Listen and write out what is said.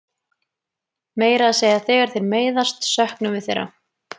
Meira að segja þegar þeir meiðast söknum við þeirra.